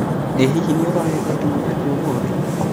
ĩ hihi nĩũrorete thimũ yaku ũmũthĩ